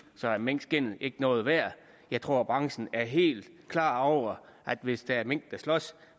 så er minkskindet ikke noget værd jeg tror branchen er helt klar over at hvis der er mink der slås